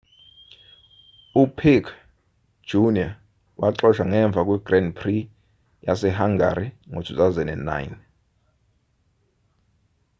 upiquet jr waxoshwa ngemva kwe-grand prix yase-hungary ka-2009